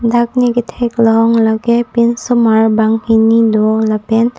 dak ne katheklong lake pinsomar banghini do lapen--